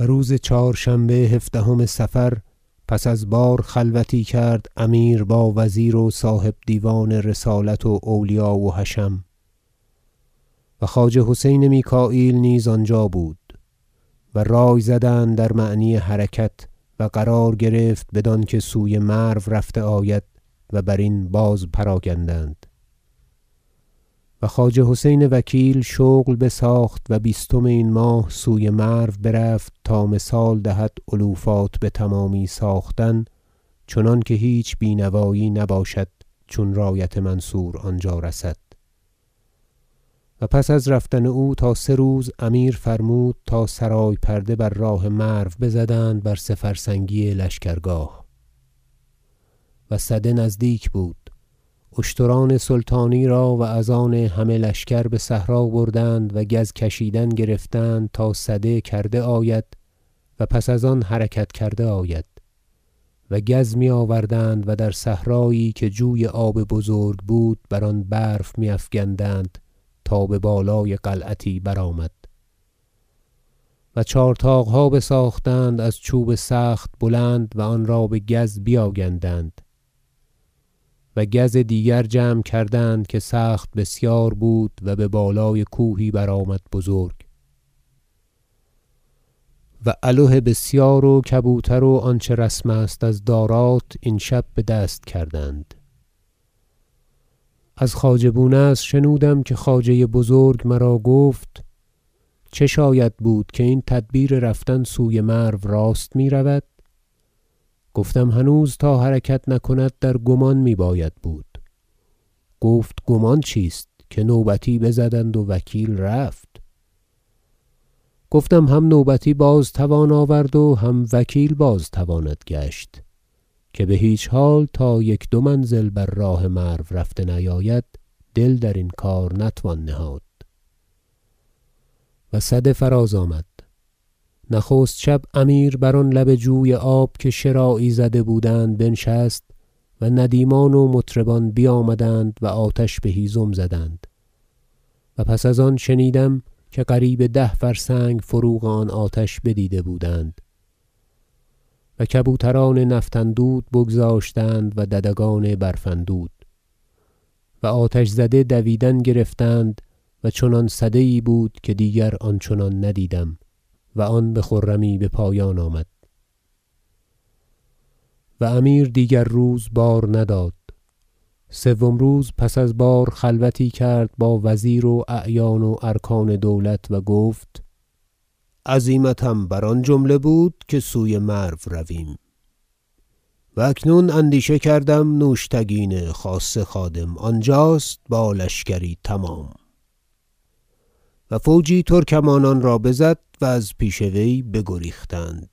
و روز چهارشنبه هفدهم صفر پس از بار خلوتی کرد امیر با وزیر و صاحب دیوان رسالت و اولیا و حشم و خواجه حسین میکاییل نیز آنجا بود و رای زدند در معنی حرکت و قرار گرفت بدانکه سوی مرو رفته آید و برین بازپراگندند و خواجه حسین وکیل شغل بساخت و بیستم این ماه سوی مرو برفت تا مثال دهد علوفات بتمامی ساختن چنانکه هیچ بینوایی نباشد چون رایت منصور آنجا رسد و پس از رفتن او تا سه روز امیر فرمود تا سرای پرده بر راه مرو بزدند بر سه فرسنگی لشکرگاه و سده نزدیک بود اشتران سلطانی را و از آن همه لشکر بصحرا بردند و گز کشیدن گرفتند تا سده کرده آید و پس از آن حرکت کرده آید و گز میآوردند در صحرایی که جوی آب بزرگ بود بر آن برف میافکندند تا ببالای قلعتی برآمد و چهار طاقها بساختند از چوب سخت بلند و آنرا بگز بیاگندند و گز دیگر جمع کردند که سخت بسیار بود و ببالای کوهی برآمد بزرگ واله بسیار و کبوتر و آنچه رسم است از دارات این شب بدست کردند از خواجه بونصر شنودم که خواجه بزرگ مرا گفت چه شاید بود که این تدبیر رفتن سوی مرو راست میرود گفتم هنوز تا حرکت نکند در گمان میباید بود گفت گمان چیست که نوبتی بزدند و وکیل رفت گفتم هم نوبتی بازتوان آورد و هم وکیل بازتواند گشت که بهیچ حال تا یک دو منزل بر راه مرو رفته نیاید دل درین کار نتوان نهاد و سده فراز آمد نخست شب امیر بر آن لب جوی آب که شراعی زده بودند بنشست و ندیمان و مطربان بیامدند و آتش بهیزم زدند- و پس از آن شنیدم که قریب ده فرسنگ فروغ آن آتش بدیده بودند- و کبوتران نفط اندود بگذاشتند و ددگان برف اندود و آتش زده دویدن گرفتند و چنان سده یی بود که دیگر آن چنان ندیدم و آن بخرمی بپایان آمد رای امیر برفتن سوی نیشابور و امیر دیگر روز بار نداد سوم روز پس از بار خلوتی کرد با وزیر و اعیان و ارکان دولت و گفت عزیمتم بر آن جمله بود که سوی مرو رویم و اکنون اندیشه کردم نوشتگین خاصه خادم آنجاست با لشکری تمام و فوجی ترکمانان را بزد و از پیش وی بگریختند